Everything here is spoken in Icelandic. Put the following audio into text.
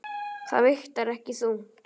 Það vigtar ekki þungt.